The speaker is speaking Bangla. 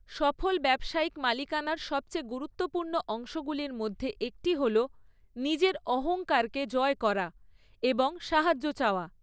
সফল ব্যবসায়িক মালিকানার সবচেয়ে গুরুত্বপূর্ণ অংশগুলির মধ্যে একটি হল নিজের অহংকারকে জয় করা এবং সাহায্য চাওয়া।